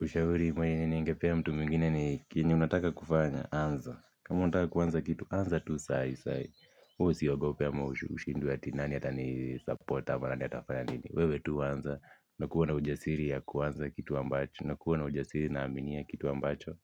Ushauri mwenye ningepea mtu mwingine ni kenye unataka kufanya, anza. Kama unataka kuanza kitu anza tu saa hii saa hii. Wewe usiogopia ama ushindwe nani atini support ama nani atafanya nini. Wewe tu anza na kuwa na ujasiri ya kuanza kitu ambacho na kuwa na ujasiri na amini ya kitu ambacho.